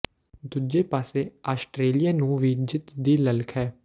ਦੂਜੇ ਪਾਸੇ ਆਸਟਰੇਲੀਆ ਨੂੰ ਵੀ ਜਿੱਤ ਦੀ ਲਲਕ ਹੈ